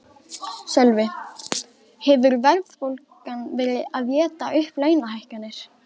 Sölvi: Hefur verðbólgan verið að éta upp launahækkanir?